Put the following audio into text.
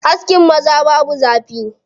Askin maza babu zafi.